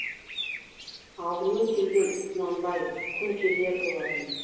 алдымен келген құнанбай күнкелер болатын